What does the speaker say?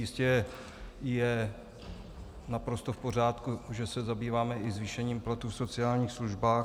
Jistě je naprosto v pořádku, že se zabýváme i zvýšením platů v sociálních službách.